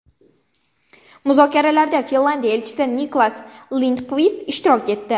Muzokaralarda Finlandiya elchisi Niklas Lindqvist ishtirok etdi.